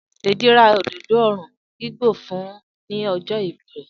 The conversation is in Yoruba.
Deji ra òdòdó òòrùn igbó fún un ní ọjọ́ ìbí rẹ̀.